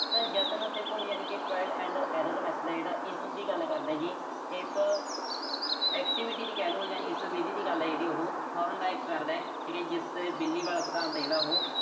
ਤਾਂ ਯਤਨ ਅਤੇ ਭੁੱਲ ਯਾਨੀ ਕਿ trial and error method ਆ ਜਿਹੜੀ ਇਸ ਚੀਜ਼ ਦੀ ਗੱਲ ਕਰਦਾ ਜੀ। ਇਸ activity ਵੀ ਕਹਿਲੋ, ਜਾਂ ਇਸ ਵਿਧੀ ਦੀ ਗੱਲ ਆ ਜਿਹੜੀ ਉਹੋ Thorndike ਕਰਦਾ